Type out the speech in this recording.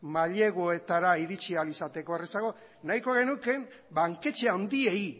maileguetara iritsi ahal izateko errazago nahiko genuke banketxe handiei